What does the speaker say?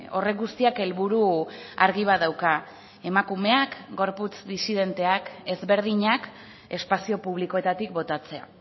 horrek guztiak helburu argi bat dauka emakumeak gorputz disidenteak ezberdinak espazio publikoetatik botatzea